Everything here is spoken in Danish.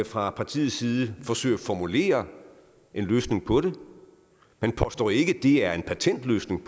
fra partiets side forsøger formulere en løsning på det man påstår ikke at det er en patentløsning